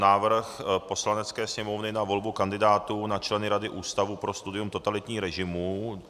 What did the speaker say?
Návrh Poslanecké sněmovny na volbu kandidátů na členy Rady Ústavu pro studium totalitních režimů